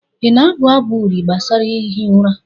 ị na-abụ abụ uri gbasara ihi ụra?